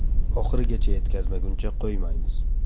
Oxirigacha yetkazmaguncha qo‘ymaymiz.